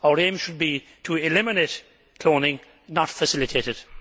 Our aim should be to eliminate cloning, not to facilitate it.